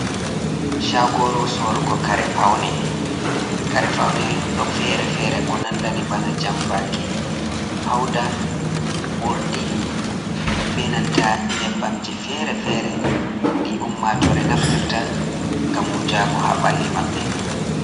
Shagoru sorugo kare faune, karefaune ɗo fere fere ko nandani bana jambaki, fauda urdi, benanta nyebbamji fere-fere ɗi ummatore naftirta ngam wujago ha ɓalli maɓɓe.